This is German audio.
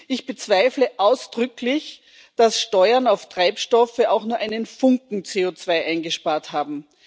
Ich bezweifle ausdrücklich, dass Steuern auf Treibstoffe auch nur einen Funken CO2 eingespart haben.